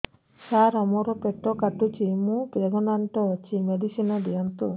ସାର ମୋର ପେଟ କାଟୁଚି ମୁ ପ୍ରେଗନାଂଟ ଅଛି ମେଡିସିନ ଦିଅନ୍ତୁ